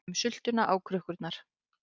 Setjum sultuna á krukkur